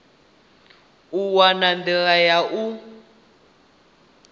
u wana nḓila ya u